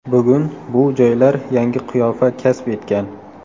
Bugun bu joylar yangi qiyofa kasb etgan.